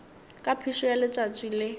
ka phišo ya letšatši le